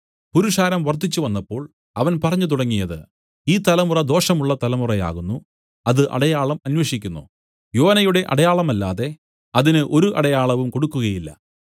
പുരുഷാരം വർദ്ധിച്ചു വന്നപ്പോൾ അവൻ പറഞ്ഞു തുടങ്ങിയത് ഈ തലമുറ ദോഷമുള്ള തലമുറയാകുന്നു അത് അടയാളം അന്വേഷിക്കുന്നു യോനയുടെ അടയാളമല്ലാതെ അതിന് ഒരു അടയാളവും കൊടുക്കുകയില്ല